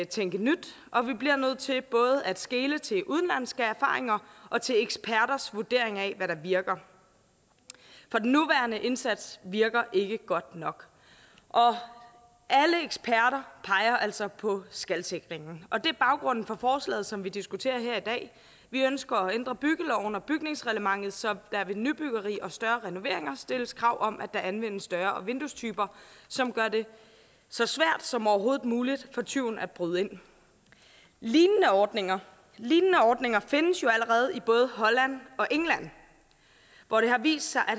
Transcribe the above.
tænke nyt og vi bliver nødt til både at skele til udenlandske erfaringer og til eksperters vurdering af hvad der virker for den nuværende indsats virker ikke godt nok alle eksperter peger altså på skalsikringen og det er baggrunden for forslaget som vi diskuterer her i dag vi ønsker at ændre byggeloven og bygningsreglementet så der ved nybyggeri og større renoveringer stilles krav om at der anvendes større vinduestyper som gør det så svært som overhovedet muligt for tyven at bryde ind lignende ordninger lignende ordninger findes jo allerede i både holland og england hvor det har vist sig at